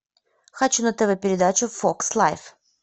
хочу на тв передачу фокс лайф